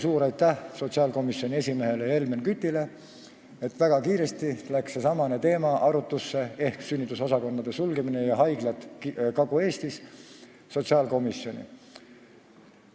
Suur aitäh sotsiaalkomisjoni esimehele Helmen Kütile, et väga kiiresti tuli seesamane teema ehk sünnitusosakondade sulgemise ja Kagu-Eesti haiglate teema sotsiaalkomisjonis arutlusele.